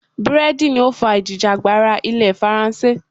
Búrẹ́dì ni ó fà ìjìjàgbara ilẹ̀ faransé.